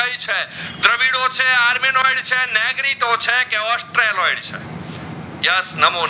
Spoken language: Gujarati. છે આરમીન ઓઇલ છે નેગરીતો છે કે ઔસ્ત્રીઓલોઇડ છે yes નામો